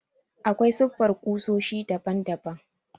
Aƙwai siffar ƙusoshi daɓan daɓan.